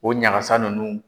O ɲagasa nunnu.